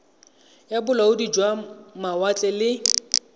ya bolaodi jwa mawatle le